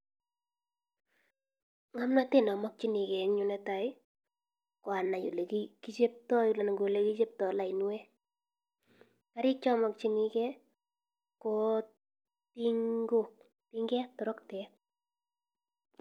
Ng'amnatet namakyinek en yu netai, koanai olekiyepta lainwek, karik chamikchinek ko tingok toroktet.